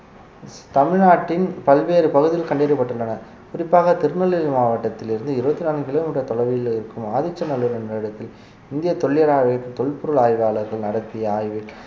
தமிழ்நாட்டின் பல்வேறு பகுதியில் கண்டறியப்பட்டுள்ளன குறிப்பாக திருநெல்வேலி மாவட்டத்திலிருந்து இருபத்தி நான்கு கிலோமீட்டர் தொலைவில் இருக்கும் ஆதிச்சநல்லூர் என்ற இடத்தில் இந்திய தொல்லியல் ஆய்வு தொல்பொருள் ஆய்வாளர்கள் நடத்திய ஆய்வில்